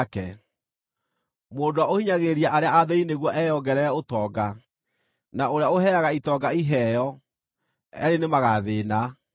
Mũndũ ũrĩa ũhinyagĩrĩria arĩa athĩĩni nĩguo eyongerere ũtonga, na ũrĩa ũheaga itonga iheo, eerĩ nĩmagathĩĩna.